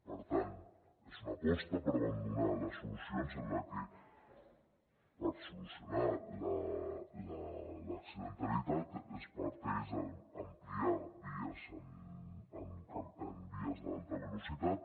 per tant és una aposta per abandonar les solucions en les que per solucionar l’accidentalitat es parteix d’ampliar vies d’alta velocitat